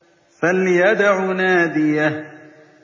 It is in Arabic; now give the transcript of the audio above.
فَلْيَدْعُ نَادِيَهُ